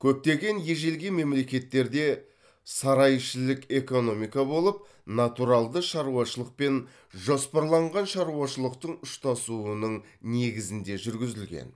көптеген ежелгі мемлекеттерде сарайішілік экономика болып натуралды шаруашылық пен жоспарланған шаруашылықтың ұштасуының негізінде жүргізілген